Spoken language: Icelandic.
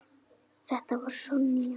Þetta var Sonja.